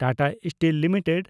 Tata steel limited